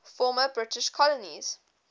former british colonies